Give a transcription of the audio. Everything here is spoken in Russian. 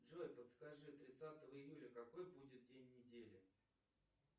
джой подскажи тридцатого июля какой будет день недели